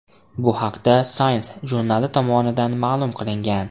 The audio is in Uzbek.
Bu haqda Science jurnali tomonidan ma’lum qilingan .